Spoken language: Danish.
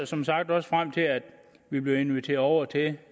som sagt også frem til at vi bliver inviteret over til en